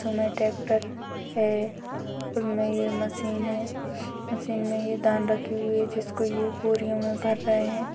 Tractor है| उसमें ये मशीन है| मशीन में ये धान रखी हुई है जिसको ये बोरियों में भर रहे हैं।